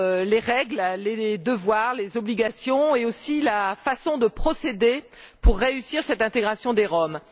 les règles, les devoirs, les obligations et aussi la façon de procéder pour réussir cette intégration des Roms.